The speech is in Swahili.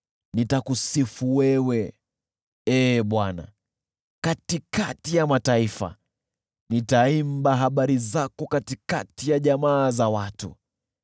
Nitakusifu wewe, Ee Bwana , katikati ya mataifa; nitaimba habari zako, katikati ya jamaa za watu.